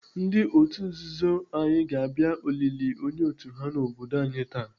Ndị otu nzuzu Aye ga-abịa olili onye otu ha n'obodo anyi taa.